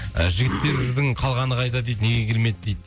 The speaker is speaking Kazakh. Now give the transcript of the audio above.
і жігіттердің қалғаны қайда дейді неге келмеді дейді